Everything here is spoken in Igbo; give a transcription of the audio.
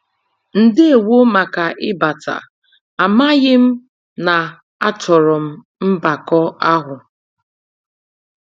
Ndewo màkà ịbata, amaghị m na-achọro m mbakọ àhụ́.